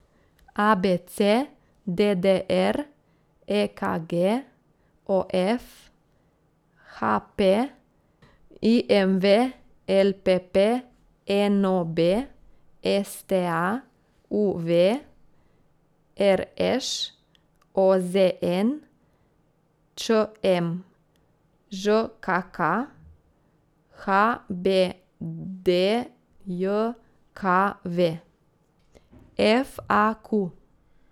A B C; D D R; E K G; O F; H P; I M V; L P P; N O B; S T A; U V; R Š; O Z N; Č M; Ž K K; H B D J K V; F A Q.